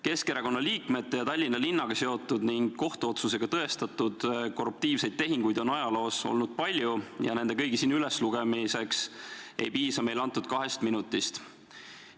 Keskerakonna liikmete ja Tallinna linnaga seotud ning kohtuotsusega tõestatud korruptiivseid tehinguid on ajaloos olnud palju, nende kõigi siin üleslugemiseks ei piisa meile antud kahest minutist.